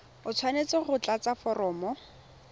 o tshwanetse go tlatsa foromo